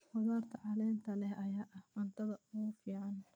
Khudaarta caleenta leh ayaa ah cuntada ugu fiican.